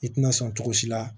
I tina sɔn cogo si la